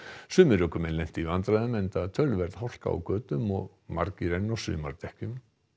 sumir ökumenn lentu í vandræðum enda töluverð hálka á götum og margir enn á sumardekkjum